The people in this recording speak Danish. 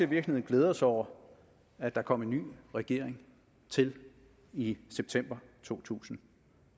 virkeligheden glæder sig over at der kom en ny regering til i september to tusind